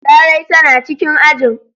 Larai tana cikin ajin.